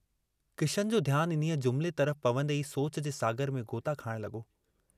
किशन जो ध्यानु इन्हीअ जुमिले तरफ पवन्दे ई सोच जे सागर में ग़ोता खाइण लगो।